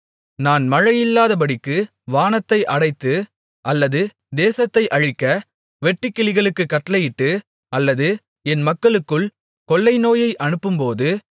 நான் மழையில்லாதபடிக்கு வானத்தை அடைத்து அல்லது தேசத்தை அழிக்க வெட்டுக்கிளிகளுக்குக் கட்டளையிட்டு அல்லது என் மக்களுக்குள் கொள்ளை நோயை அனுப்பும்போது